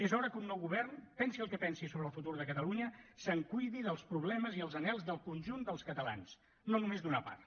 és hora que un nou govern pensi el que pensi sobre el futur de catalunya se’n cuidi dels problemes i els anhels del conjunt dels catalans no només d’una part